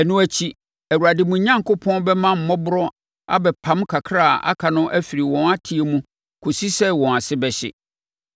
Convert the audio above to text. Ɛno akyi, Awurade, mo Onyankopɔn, bɛma mmɔborɔ abɛpam kakra a aka no afiri wɔn atɛeɛ mu kɔsi sɛ wɔn ase bɛhye.